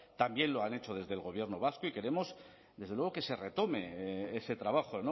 también lo han hecho desde el gobierno vasco y queremos desde luego que se retome ese trabajo